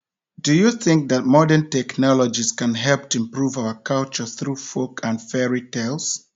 Do you think modern technologies can help to improve our culture through folk and fairy tales.?